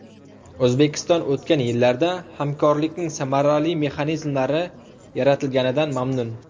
O‘zbekiston o‘tgan yillarda hamkorlikning samarali mexanizmlari yaratilganidan mamnun.